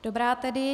Dobrá tedy.